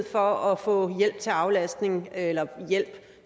for at få hjælp til aflastning eller hjælp